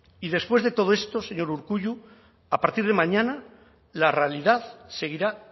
y después de todo esto señor urkullu a partir de mañana la realidad seguirá